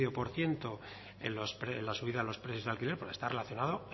por ciento en la subida de los precios del alquiler porque está relacionado